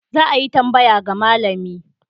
Za a yi tambaya ga malami.